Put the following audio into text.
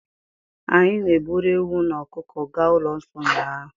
Anyị na-eburu ewu na ọkụkọ gaa ụlọ nsọ ụnyaahụ.